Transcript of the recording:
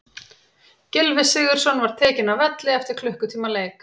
Gylfi Sigurðsson var tekinn af velli eftir klukkutíma leik.